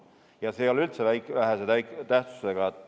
Ja see ei ole üldse vähese tähtsusega.